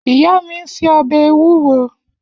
Iya mi n se obe ewuro.